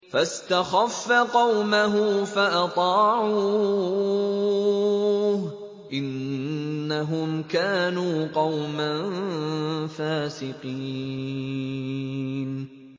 فَاسْتَخَفَّ قَوْمَهُ فَأَطَاعُوهُ ۚ إِنَّهُمْ كَانُوا قَوْمًا فَاسِقِينَ